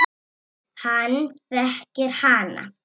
Hann þekkir hana.